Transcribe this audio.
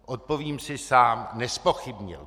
Odpovím si sám - nezpochybnil.